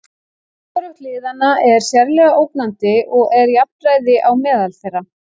Hvorugt liðanna er sérlega ógnandi og er jafnræði á meðal þeirra.